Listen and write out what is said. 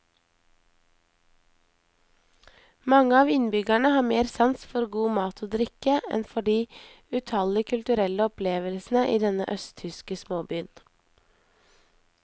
Mange av innbyggerne har mer sans for god mat og drikke enn for de utallige kulturelle opplevelsene i denne østtyske småbyen.